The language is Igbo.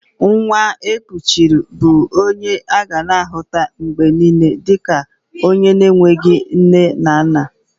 Nwa e kuchiri bụ onye a ga-ahuta mgbe niile dika onye enweghị nne na nna